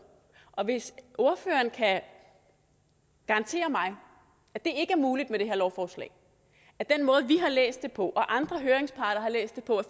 og hvis ordføreren kan garantere mig at det ikke er muligt med det her lovforslag at den måde vi har læst det på og andre høringsparter har læst det på